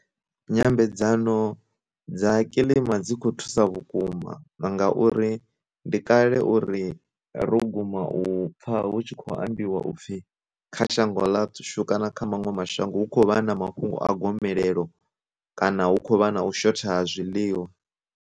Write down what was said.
Nyambedzano dza kilima dzi kho thusa vhukuma ngauri ndi kale uri ro guma u pfha hu tshi khou ambiwa upfhi kha shango ḽa shu kana kha maṅwe mashango hu khou vha na mafhungo a gomelelo, kana hu khou vha na u shotha ha zwiḽiwa.